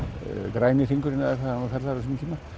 græni hringurinn eða hvað hann var kallaður á sínum tíma